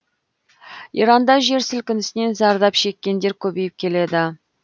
иранда жер сілкінісінен зардап шеккендер көбейіп келеді